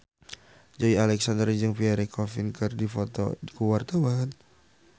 Joey Alexander jeung Pierre Coffin keur dipoto ku wartawan